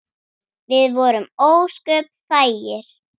Við vorum ósköp þægir.